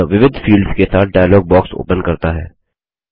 यह विविध फील्ड्स के साथ डायलॉग बॉक्स ओपन करता है